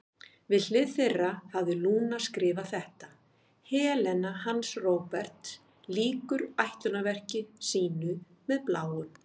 Við hlið þeirra hafði Lúna skrifað þetta: Helena hans Róberts lýkur ætlunarverki sínu með Bláum.